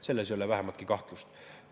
Selles ei ole vähimatki kahtlust.